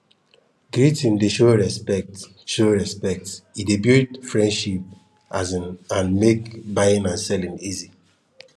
greeting dey show respect show respect e dey build friendship um and make buying and selling easy